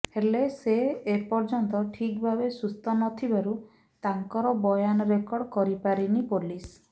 ହେଲେ ସେ ଏପର୍ଯ୍ୟନ୍ତ ଠିକ୍ ଭାବେ ସୁସ୍ଥ ନଥିବାରୁ ତାଙ୍କର ବୟାନ ରେକର୍ଡ କରିପାରିନି ପୋଲିସ